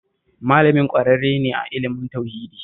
Malamin ƙwararre ne a ilimin tauhidi